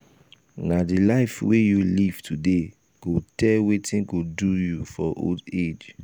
na di life wey you live today go tell wetin go do you for old um age.